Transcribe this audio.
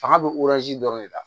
Fanga bɛ dɔrɔn de la